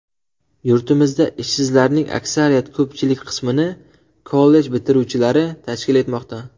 Yurtimizda ishsizlarning aksariyat ko‘pchilik qismini kollej bitiruvchilari tashkil etmoqda.